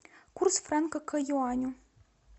курс франка к юаню